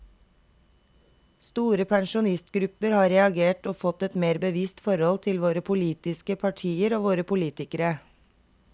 Store pensjonistgrupper har reagert og fått et mer bevisst forhold til våre politiske partier og våre politikere.